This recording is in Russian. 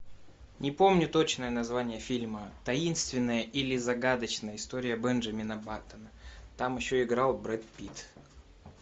не помню точное название фильма таинственная или загадочная история бенджамина баттона там еще играл брэд питт